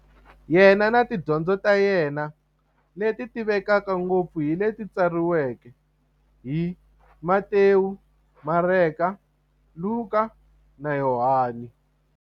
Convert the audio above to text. Yena na tidyondzo ta yena, leti tivekaka ngopfu hi leti tsariweke hi-Matewu, Mareka, Luka, na Yohani.